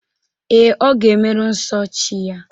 Ee, ọ ga-emeru nso chi ya.